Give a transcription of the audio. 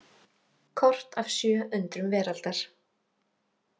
Kort af sjö undrum veraldar.